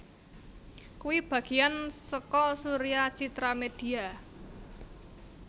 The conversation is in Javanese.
kui bagian soko Surya Citra Media